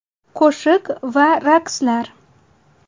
Qo‘shiq va raqslar.